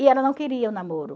E ela não queria o namoro.